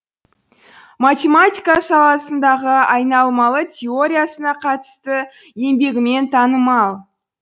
математика саласындағы айналмалы теориясына қатысты еңбегімен танымал